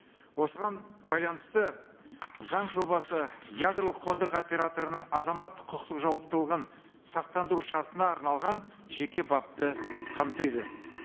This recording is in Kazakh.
осыған байланысты заң жобасы ядролық қондырғы операторының азаматтық құқықтық жауаптылығын сақтандыру шартына арналған жеке бапты қамтиды